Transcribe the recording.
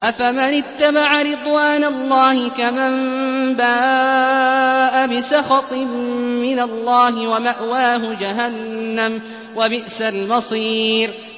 أَفَمَنِ اتَّبَعَ رِضْوَانَ اللَّهِ كَمَن بَاءَ بِسَخَطٍ مِّنَ اللَّهِ وَمَأْوَاهُ جَهَنَّمُ ۚ وَبِئْسَ الْمَصِيرُ